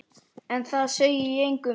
En það segi ég engum.